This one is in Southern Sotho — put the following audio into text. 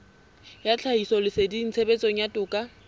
ya tlhahisoleseding tshebetsong ya toka